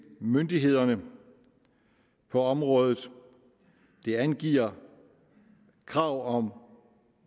myndighederne på området det angiver krav om